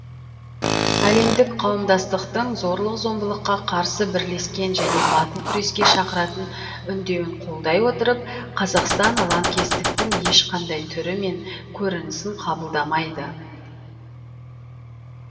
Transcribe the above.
әлемдік қауымдастықтың зорлық зомбылыққа қарсы бірлескен және батыл күреске шақыратын үндеуін қолдай отырып қазақстан лаңкестіктің ешқандай түрі мен көрінісін қабылдамайды